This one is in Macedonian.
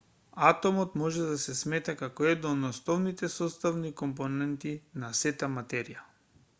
атомот може да се смета како една од основните составни компоненти на сета материја